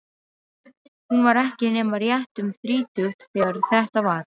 Hún var ekki nema rétt um þrítugt þegar þetta var.